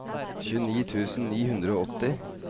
tjueni tusen ni hundre og åtti